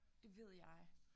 Det ved jeg